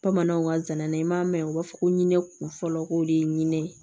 Bamananw ka zana na i m'a mɛn u b'a fɔ ko ne kun fɔlɔ ko de ye ɲinɛ ye